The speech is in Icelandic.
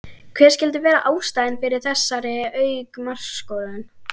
Hver skyldi vera ástæðan fyrir þessari auknu markaskorun?